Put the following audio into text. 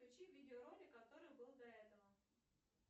включи видеоролик который был до этого